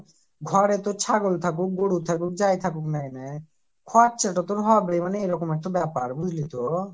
ঘরে তোর ছাগল থাকুক গরু থাকুক যাই থাকুক না কেনে খরচটা তোর হবেই মানে এই রকম একটা ব্যাপার বুঝলি তো